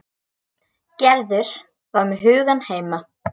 Gerður var með hugann heima.